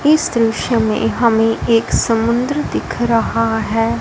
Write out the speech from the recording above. इस दृश्य में हमें एक समुद्र दिख रहा है।